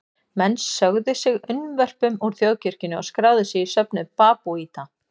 Menn sögðu sig unnvörpum úr þjóðkirkjunni og skráðu sig í söfnuð babúíta.